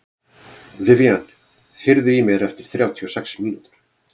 Vivian, heyrðu í mér eftir þrjátíu og sex mínútur.